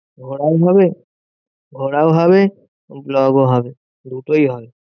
ঘোরাও হবে, ঘোরাও হবে, vlog ও হবে, দুটোই হবে।